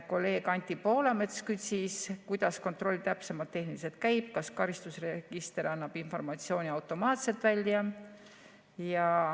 Kolleeg Anti Poolamets küsis, kuidas kontroll täpsemalt tehniliselt käib, kas karistusregister annab informatsiooni automaatselt välja.